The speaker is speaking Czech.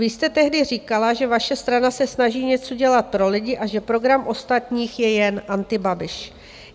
Vy jste tehdy říkala, že vaše strana se snaží něco dělat pro lidi a že program ostatních je jen Antibabiš.